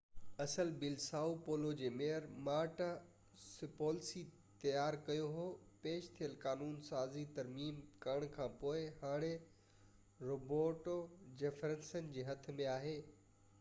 اصل بل Sao Paulo جي ميئر مارٽا سوپليسي تيار ڪيو هو پيش ٿيل قانون سازي ترميم ڪرڻ کانپوءِ هاڻي روبرٽو جيفرسن جي هٿ ۾ آهي